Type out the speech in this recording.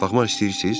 Baxmaq istəyirsiz?